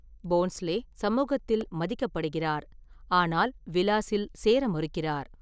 போன்ஸ்லே சமூகத்தில் மதிக்கப்படுகிறார், ஆனால் விலாஸில் சேர மறுக்கிறார்.